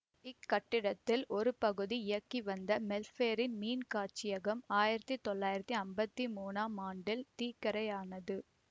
இக்கட்டிடத்தில் ஒரு பகுதியில் இயங்கிவந்த மெல்பேர்ண் மீன்காட்சியகம் ஆயிரத்தி தொள்ளாயிரத்தி அம்பத்தி மூனாம் ஆண்டில் தீக்கிரையானது